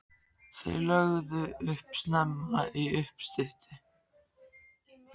Þeir lögðu upp snemma í uppstyttu.